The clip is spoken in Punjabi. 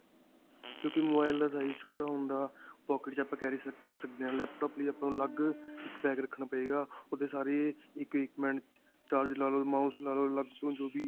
ਕਿਉਂਕਿ mobile ਦਾ size ਛੋਟਾ ਹੁੰਦਾ pocket 'ਚ ਆਪਾਂ carry ਕਰ ਸਕਦੇ ਹਾਂ laptop ਲਈ ਆਪਾਂ ਨੂੰ ਅਲੱਗ ਇੱਕ bag ਰੱਖਣਾ ਪਏਗਾ ਓਹਦੇ ਸਾਰੇ equipments, charge ਲੱਗਾ ਲੋ, mouse ਲੱਗਾ ਲੋ, ਅਲੱਗ ਤੋਂ ਜੋ ਵੀ.